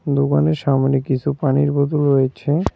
দোকানের সামনে কিছু পানির বোতল রয়েছে।